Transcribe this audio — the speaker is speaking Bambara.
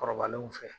Kɔrɔbalenw fɛ